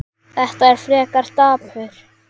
Þetta er frekar dapurt.